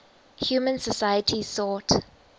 human societies sought